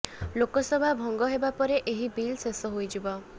ଲୋକସଭା ଭଙ୍ଗ ହେବା ପରେ ଏହି ବିଲ ଶେଷ ହୋଇଯିବ